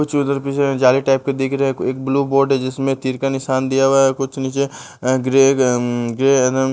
कुछ उधर जाली टाइप के दिख रहे हैं एक ब्लू बोर्ड है जिसमें तीर का निशान दिया हुआ है कुछ नीचे ग्रे ग्रे --